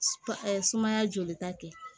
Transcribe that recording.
sumaya jolita kɛ